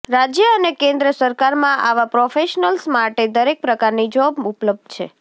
રાજ્ય અને કેન્દ્ર સરકારમાં આવા પ્રોફેશનલ્સ માટે દરેક પ્રકારની જોબ ઉપલબ્ધ છે